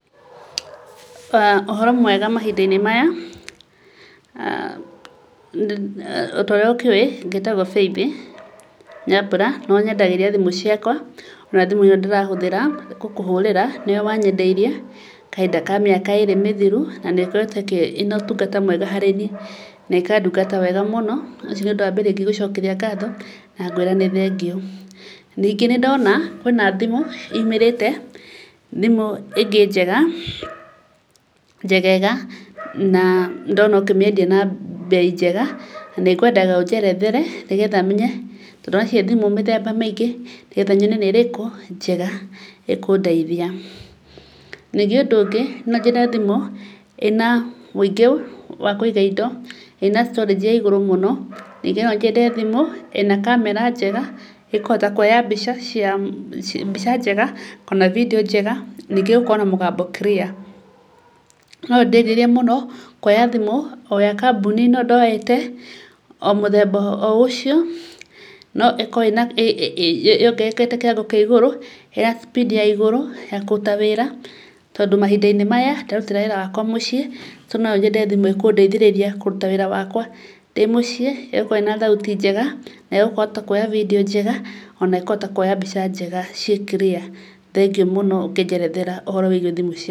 Ũhoro mwega mahinda-inĩ maya? Torĩa ũkĩũĩ, ngĩtagwo Faithi Nyambura, nĩũnyendagĩria thimũ ciakwa, na thimũ ĩrĩa ndĩrahũthĩra gũkũhũrĩra, nĩwe wanyendeirie, kahinda kamĩaka ĩrĩ mĩthiru, na nĩ ĩkoretwo ĩna ũtungata mwega harĩ niĩ, na ĩkandungata wega mũno, ũcio nĩ ũndũ wambere ingĩenda gũgũcokeria ngatho, na ngwĩre nĩ thengiũ. Ningĩ nĩndona, kwĩna thimũ yũmĩrĩte, thimũ ĩngĩ njega, njegega na ndona ũkĩmĩendia na mbei njega, na nĩngwenda ũnjerethere, nĩgetha menye, tondũ kwĩna thimũ mĩthema mĩingĩ, nĩgetha menye nĩ ĩrĩkũ, njega ĩkũndeithia. Ningĩ ũndũ ũngĩ, nĩ nyendete thimũ ĩna ũingĩ wa kũiga indo, ina storage ĩigũrũ mũno. Nonyende thimũ ĩna kamera njega, ĩkũhota kuoya mbica cia, mbica njega, ona bindio njega, ningĩ ĩgakorwo na mũgambo clear. Nĩ ndĩrirĩrie kwoya thimũ, o ya kambuni ĩno ndoete, o mũthemba o ũcio, no ĩkorwo yongererekete kĩwango kĩa igũrũ, ina speed ya igũrũ, ya kũruta wĩra, tondũ mahinda maya tũraruta wĩra wakwa mũciĩ, nonyende thimũ ĩkũndeithĩrĩria kũruta wĩra wakwa ndĩmũciĩ, ĩgakorwo ĩna thauti njega, na ĩkahota kwoya bindio njega, ona ĩkũhota kuoya mbica njega, ciĩ clear. Thengiũ mũno ũngĩnjerethera ũhoro wĩgiĩ thimũ icio.